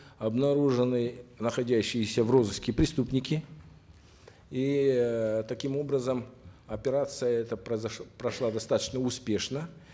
обнаружены находящиеся в розыске преступники и э таким образом операция эта прошла достаточно успешно